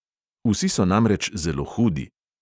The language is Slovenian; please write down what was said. Vsi so namreč zelo hudi.